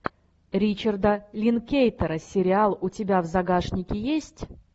ричарда линклейтера сериал у тебя в загашнике есть